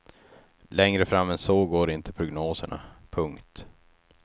Längre fram än så går inte prognoserna. punkt